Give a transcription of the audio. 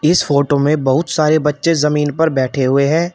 इस फोटो में बहुत सारे बच्चे जमीन पर बैठे हुए हैं।